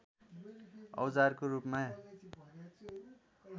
औजारको रूपमा